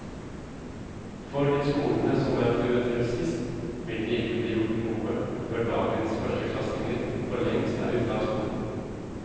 For de skolene som er prioritert sist, vil det ikke bli gjort noe før dagens førsteklassinger for lengst er ute av skolen.